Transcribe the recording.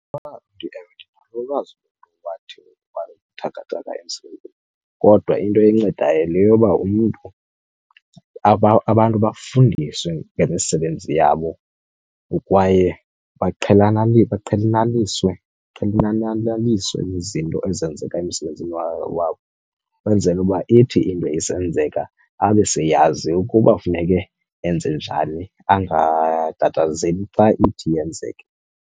Ewe, ndinalo ulwazi lomntu owathi wabuthakathaka emzimbeni. Kodwa into encedayo yile yoba umntu, abantu bafundiswe ngemisebenzi yabo kwaye baqhelaniswe nezinto ezenzeka emsebenzini wabo, kwenzele uba ithi into isenzeka abe seyazi ukuba funeke enze njani, angatatazeli xa ithi yenzeke.